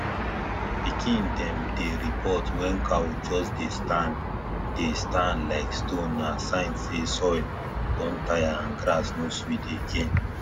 pikin dem dey report wen cow just dey stand dey stand like stone na sign say soil don tire and grass no sweet again